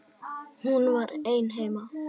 Hún var ein heima.